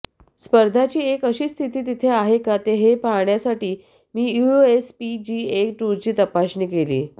स्पर्धाची एक अशी स्थिती तेथे आहे का हे पाहण्यासाठी मी यूएसपीजीए टूरची तपासणी केली